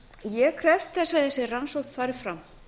ég krefst þess að þessi rannsókn fari fram